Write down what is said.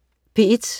P1: